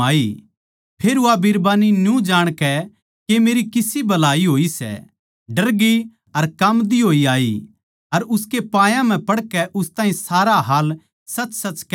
फेर वा बिरबान्नी न्यू जाणकै के मेरी किसी भलाई होई सै डरगी अर काम्बदी होई आई अर उसकै पायां म्ह पड़कै उस ताहीं सारा हाल साच्चीसाच कह दिया